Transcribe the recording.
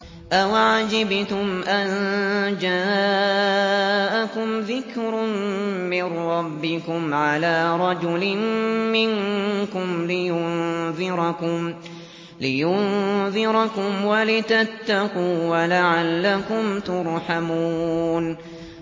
أَوَعَجِبْتُمْ أَن جَاءَكُمْ ذِكْرٌ مِّن رَّبِّكُمْ عَلَىٰ رَجُلٍ مِّنكُمْ لِيُنذِرَكُمْ وَلِتَتَّقُوا وَلَعَلَّكُمْ تُرْحَمُونَ